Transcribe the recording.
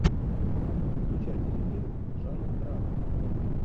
включай телефильм жанра драма